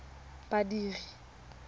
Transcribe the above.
badiri